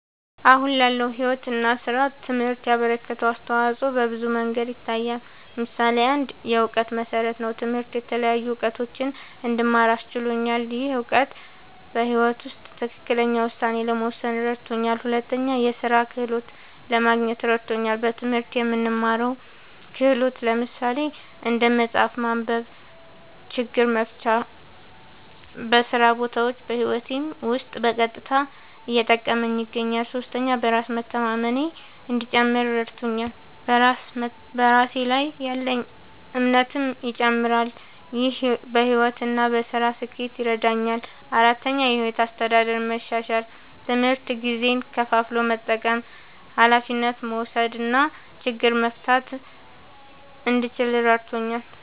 አሁን ላለው ሕይወት እና ሥራ ትምህርት ያበረከተው አስተዋጾ በብዙ መንገዶች ይታያል። ምሳሌ ፩, የእውቀት መሠረት ነዉ። ትምህርት የተለያዩ እዉቀቶችን እንድማር አስችሎኛል። ይህ እውቀት በሕይወት ውስጥ ትክክለኛ ውሳኔ ለመወሰን እረድቶኛል። ፪, የሥራ ክህሎት ለማግኘት እረድቶኛል። በትምህርት የምንማረው ክህሎት (እንደ መጻፍ፣ ማንበብ፣ ችግር መፍታ) በስራ ቦታም በህይወቴም ዉስጥ በቀጥታ እየጠቀመኝ ይገኛል። ፫. በራስ መተማመኔ እንዲጨምር እረድቶኛል። በራስ ላይ ያለኝ እምነትም ይጨምራል። ይህ በሕይወት እና በሥራ ስኬት ይረዳኛል። ፬,. የሕይወት አስተዳደር መሻሻል፦ ትምህርት ጊዜን ከፋፍሎ መጠቀም፣ ኃላፊነት መውሰድ እና ችግር መፍታት እንድችል እረድቶኛል።